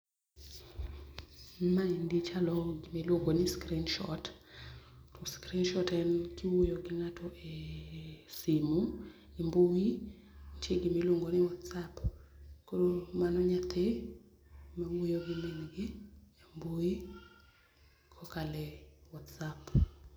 Maendi chalo gima iluongo ni Screenshot, to screenshot en kiwuoyo gi ngato e simu e mbui nitie gima iluongi ni Whatsapp, koro mano nyathi ma wuoyo gi min gi e mbui kokalo e Whatsapp